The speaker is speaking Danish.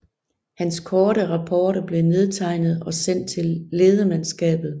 Hans korte rapporter blev nedtegnet og sendt til ledemandskabet